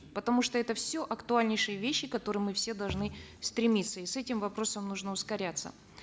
потому что это все актуальнейшие вещи которые мы все должны стремиться и с этим вопросм нужно ускоряться